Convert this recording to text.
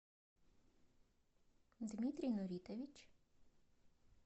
дмитрий нуритович